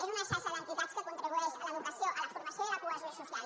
és una xarxa d’entitats que contribueix a l’educació a la formació i a la cohesió social